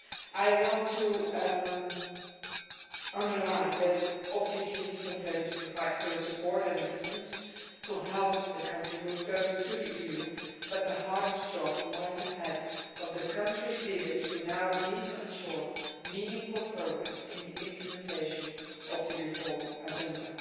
I want to underline that we obviously stand ready to provide further support and assistance to help the country move closer to the EU, but the hardest job lies ahead of the country's leaders, who now need to ensure meaningful progress in the implementation of the reform agenda.